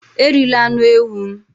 Erila anụ ewu m!